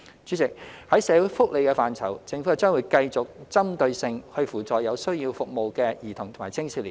主席，在社會福利的範疇，政府將繼續針對性扶助有需要服務的兒童及青少年。